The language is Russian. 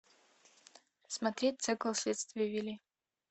смотреть цикл следствие вели